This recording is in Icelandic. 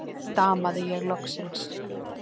stamaði ég loksins.